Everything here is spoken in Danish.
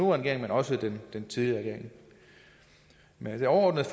regering men også den tidligere regering men det overordnede